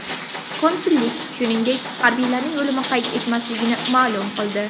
Konsullik, shuningdek, harbiylarning o‘limini qayd etmasligini ma’lum qildi.